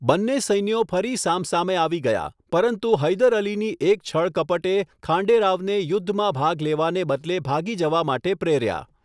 બંને સૈન્યો ફરી સામસામે આવી ગયા, પરંતુ હૈદર અલીની એક છળકપટે ખાંડે રાવને યુદ્ધમાં ભાગ લેવાને બદલે ભાગી જવા માટે પ્રેર્યા.